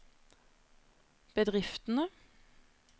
bedriftene